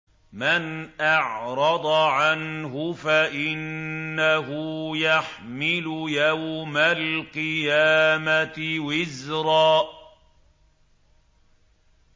مَّنْ أَعْرَضَ عَنْهُ فَإِنَّهُ يَحْمِلُ يَوْمَ الْقِيَامَةِ وِزْرًا